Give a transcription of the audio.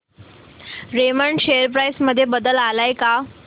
Raymond share price मध्ये बदल आलाय का